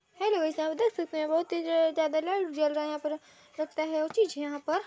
hello guys आप देख सकते हैं बहुत तेज लाइट जल रहा है यहाँ पर सकता है वो चीज़ है यहाँ पर --